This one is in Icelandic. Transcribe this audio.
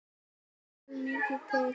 Þar þarf mikið til.